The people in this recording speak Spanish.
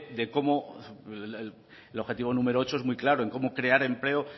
de cómo el objetivo número ocho es muy claro en cómo crear empleo